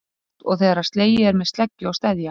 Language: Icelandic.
Það var líkt og þegar slegið er með sleggju á steðja.